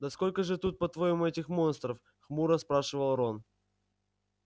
да сколько же тут по-твоему этих монстров хмуро спрашивал рон